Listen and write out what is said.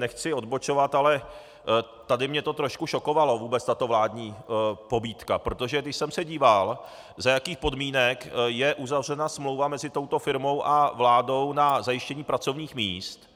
Nechci odbočovat, ale tady mě to trošku šokovalo, vůbec tato vládní pobídka, protože když jsem se díval, za jakých podmínek je uzavřena smlouva mezi touto firmou a vládou na zajištění pracovních míst,